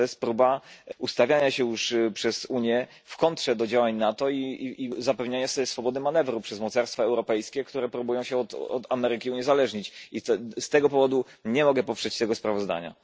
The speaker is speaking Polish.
Próba ustawienia się przez Unię w kontrze do działań NATO i zapewnienia sobie swobody manewru przez mocarstwa europejskie, które starają się od Ameryki uniezależnić. Z tego powodu nie mogę poprzeć sprawozdania.